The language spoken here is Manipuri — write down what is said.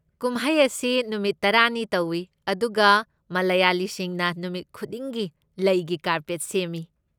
ꯀꯨꯝꯍꯩ ꯑꯁꯤ ꯅꯨꯃꯤꯠ ꯇꯔꯥꯅꯤ ꯇꯧꯏ ꯑꯗꯨꯒ ꯃꯂꯌꯥꯂꯤꯁꯤꯡꯅ ꯅꯨꯃꯤꯠ ꯈꯨꯗꯤꯡꯒꯤ ꯂꯩꯒꯤ ꯀꯥꯔꯄꯦꯠ ꯁꯦꯝꯃꯤ꯫